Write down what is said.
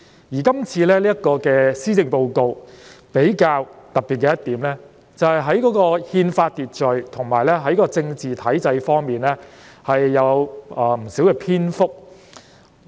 而今次這份施政報告比較特別的一點，就是有關憲法秩序及政治體制方面的內容佔了不少篇幅。